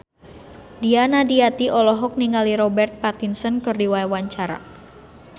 Nia Daniati olohok ningali Robert Pattinson keur diwawancara